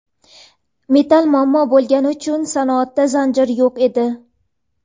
Metall muammo bo‘lgani uchun sanoatda zanjir yo‘q edi.